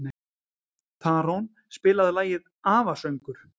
Tarón, spilaðu lagið „Afasöngur“.